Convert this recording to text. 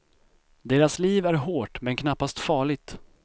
Deras liv är hårt, men knappast farligt.